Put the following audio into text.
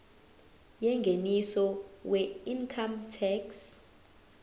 yengeniso weincome tax